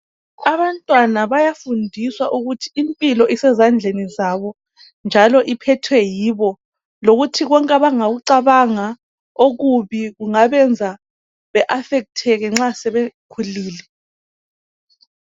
Abantwana bayafundiswa ukuthi impilo isezandleni zabo njalo iphethwe yibo lokuthi konke abangakucabanga okubi kungabenza be afecteke nxa sebekhulile.